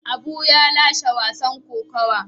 Abu ya lashe wasan kokuwa.